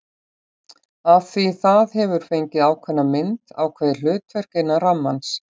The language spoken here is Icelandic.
Af því það hefur fengið ákveðna mynd, ákveðið hlutverk, innan rammans.